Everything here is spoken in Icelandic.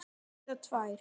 Eða tvær.